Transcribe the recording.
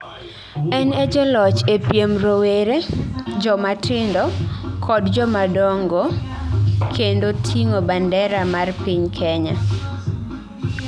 En ee jaloch ee piem rowere, jomatindo, kod jomadongo kendo ting'o bandera mar piny Kenya